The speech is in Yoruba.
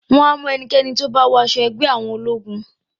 Wọ́n á mú ẹnikẹ́ni tó bá wọ aṣọ ẹgbẹ́-jọdá àwọn ológun.